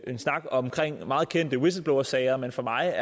en snak om meget kendte whistleblowersager men for mig